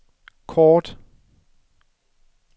kort